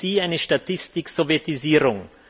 Ist für Sie eine Statistik Sowjetisierung?